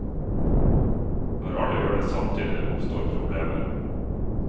Når alle gjør det samtidig oppstår problemer.